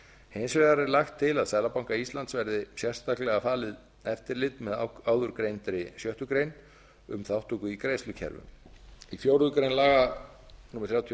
hins vegar er lagt til að seðlabanka íslands verði sérstaklega falið eftirlit með áðurgreindri sjöttu grein um þátttöku í greiðslukerfum í fjórða grein laga númer þrjátíu og